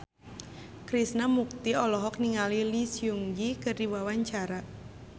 Krishna Mukti olohok ningali Lee Seung Gi keur diwawancara